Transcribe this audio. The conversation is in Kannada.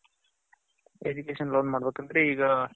education loan ಮಾಡ್ಬೇಕ್ ಅಂದ್ರೆ ಈಗ